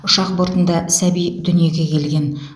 ұшақ бортында сәби дүниеге келген